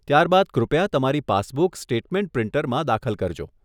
ત્યાર બાદ કૃપયા તમારી પાસબુક સ્ટેટમેન્ટ પ્રિન્ટરમાં દાખલ કરજો.